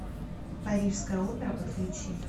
парижская опера подключи